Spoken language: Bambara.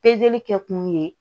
kɛ kun ye